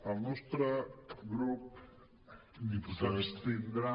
el nostre grup s’abstindrà